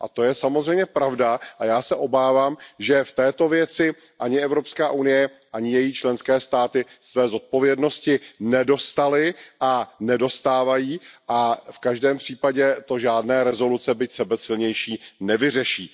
A to je samozřejmě pravda a já se obávám, že v této věci ani Evropská unie, ani její členské státy své zodpovědnosti nedostály a nedostávají a v každém případě to žádné rezoluce, byť sebesilnější, nevyřeší.